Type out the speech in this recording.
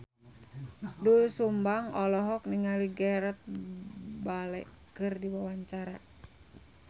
Doel Sumbang olohok ningali Gareth Bale keur diwawancara